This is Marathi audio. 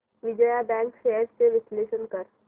विजया बँक शेअर्स चे विश्लेषण कर